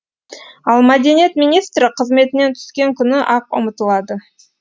ал мәдениет министрі қызметінен түскен күні ақ ұмытылады